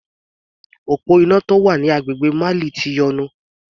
Òpó iná tó wà ní agbègbè Mali ti yọnu.